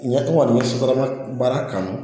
Ɲɛ tɔgɔ ni sutarama baara kanu